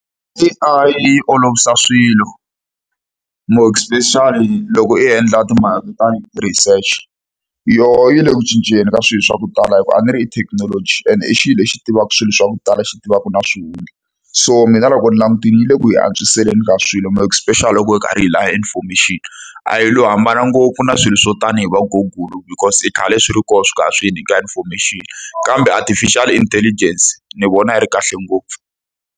A_I yi olovisa swilo more especially loko i endla timhaka ta ti-research. Yona yi le ku cinceni ka swilo swa ku tala hikuva a ni ri i thekinoloji and i xilo lexi tivaka swilo swa ku tala, xi tivaka na swihundla. So mina loko ni langutile yi le ku hi antswiseleni ka swilo more especially loko hi karhi hi lava information-i. A yi lo hambana ngopfu na swilo swo tanihi va Google because i khale swi ri koho swi kha swi hi nyika information, kambe Artificial Intelligence ni vona yi ri kahle ngopfu.